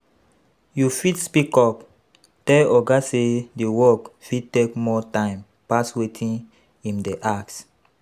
You fit speak up, tell oga sey di work fit take more time pass wetin im dey ask